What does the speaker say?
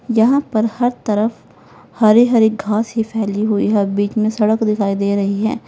यहां पर हर तरफ हरे हरे घास ही फैली हुई है बीच में सड़क दिखाई दे रही है।